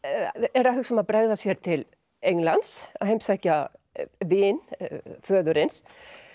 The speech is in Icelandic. eru að hugsa um að bregða sér til Englands að heimsækja vin föðurins